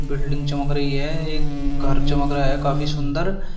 Building चमक रही है एक घर चमक रहा है काफी सुंदर।